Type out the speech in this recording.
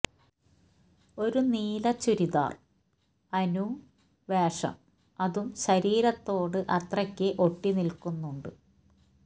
ഒരു നീല ചുരിദാർ അനു വേഷം അതും ശരീരത്തോട് അത്രയ്ക്ക് ഒട്ടി നിക്കുന്നുണ്ട്